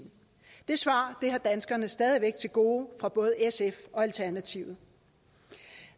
det svar har danskerne stadig væk til gode fra både sf og alternativet